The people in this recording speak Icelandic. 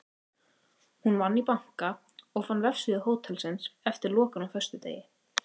Hún vann í banka og fann vefsíðu hótelsins eftir lokun á föstudegi.